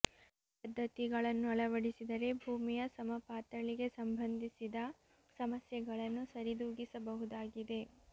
ಈ ಪದ್ಧತಿಗಳನ್ನು ಅಳವಡಿಸಿದರೆ ಭೂಮಿಯ ಸಮ ಪಾತಳಿಗೆ ಸಂಬಂಧಿಸಿದ ಸಮಸ್ಯೆಗಳನ್ನು ಸರಿದೂಗಿಸಬಹುದಾಗಿದೆ